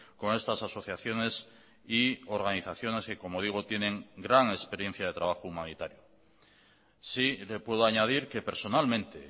con estas asociaciones y organizaciones que como digo tienen gran experiencia de trabajo humanitario sí le puedo añadir que personalmente